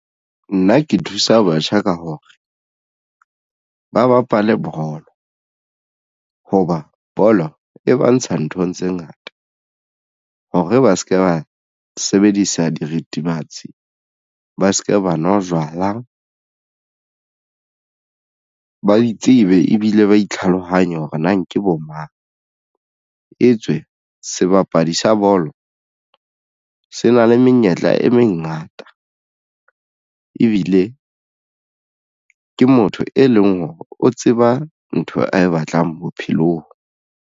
Nna ke thusa batjha ka hore ba bapale bolo hoba bolo e ba ntsha nthong tse ngata hore ba se ke ba sebedisa dirithibatsi ba se ke ba nwa jwala, ba itsebe ebile ba tlhalohanye hore na ke bo mang e tswe sebapadi sa bolo se na le menyetla e mengata ebile ke motho e leng hore o tseba ntho ae batlang bophelong.